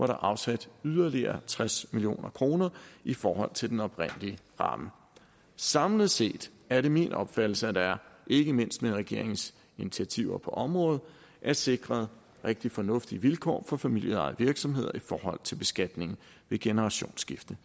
er afsat yderligere tres million kroner i forhold til den oprindelige ramme samlet set er det min opfattelse at der ikke mindst med regeringens initiativer på området er sikret rigtig fornuftige vilkår for familieejede virksomheder i forhold til beskatning ved generationsskifte